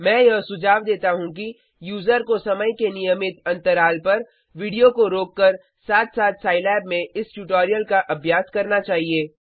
मैं यह सुझाव देता हूँ कि यूजर को समय के नियमित अंतराल पर वीडियो को रोककर साथ साथ साईलैब में इस ट्यूटोरियल का अभ्यास करना चाहिए